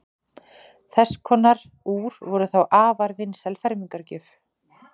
þess konar úr voru þá afar vinsæl fermingargjöf